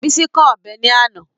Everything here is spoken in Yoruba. Bísí kán ọ̀bẹ ní àná